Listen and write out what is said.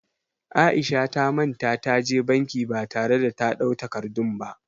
Aisha ta manta ta je banki ba tare da ta ɗau takardun ba